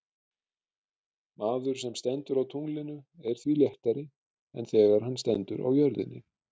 Maður sem stendur á tunglinu er því léttari en þegar hann stendur á jörðinni.